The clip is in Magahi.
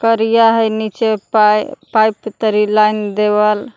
करिया हई नीचे पाय पाइप तरी लाइन देवल।